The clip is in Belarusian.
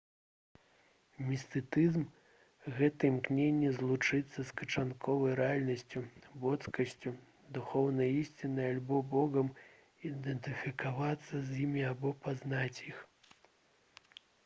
містыцызм гэта імкненне злучыцца з канчатковай рэальнасцю боскасцю духоўнай ісцінай альбо богам ідэнтыфікавацца з імі або пазнаць іх